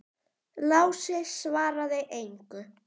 Lási svaraði engu.